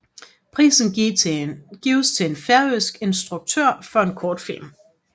Prisen gives til en færøsk instruktør for en kortfilm